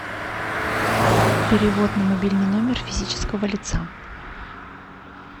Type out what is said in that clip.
перевод на мобильный номер физического лица